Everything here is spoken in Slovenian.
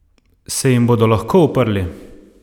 Se jim bodo lahko uprli?